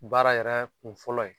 Baara yɛrɛ kun fɔlɔ ye